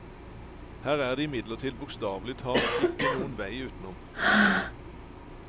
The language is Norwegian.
Her er det imidlertid bokstavelig talt ikke noen vei utenom.